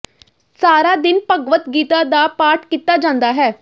ਸਾਰਾ ਦਿਨ ਭਗਵਦ ਗੀਤਾ ਦਾ ਪਾਠ ਕੀਤਾ ਜਾਂਦਾ ਹੈ